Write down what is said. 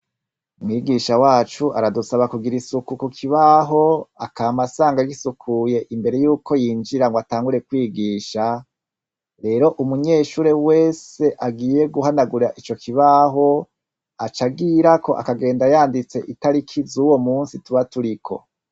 Mwigisha wacu aradusaba kugira isuku ku kibaho akamasanga gisukuye imbere yuko yinjira ngo atangure kwigisha rero umunyeshure wese agiye guhanagura ico kibaho aca agira ko akagenda yanditse itari kizeuwo musi tuba turiko.